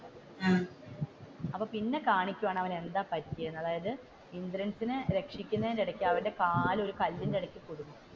അപ്പൊ പിന്നെ കാണിക്കുവാണ് അവൻ എന്താണ് പറ്റിയതെന്ന് അതായത് ഇന്ദ്രൻസിനെ രക്ഷിക്കുന്നതിന് ഇടക്ക് അവന്റെ കാൽ ഒരു കല്ലിന്റെ ഇടക്ക് കുടുങ്ങും,